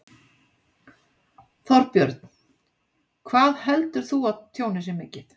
Þorbjörn: Hvað heldur þú að tjónið sé mikið?